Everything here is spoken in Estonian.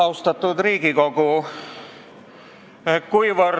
Austatud Riigikogu!